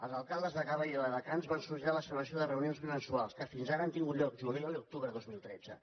els alcaldes de gavà i viladecans van sol·licitar la celebració de reunions bimensuals que fins ara han tingut lloc juliol i octubre de dos mil tretze